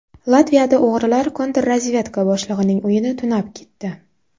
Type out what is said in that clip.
Latviyada o‘g‘rilar kontrrazvedka boshlig‘ining uyini tunab ketdi.